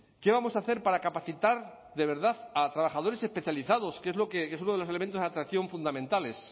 qué vamos a hacer para capacitar de verdad a trabajadores especializados que es uno de los elementos de atracción fundamentales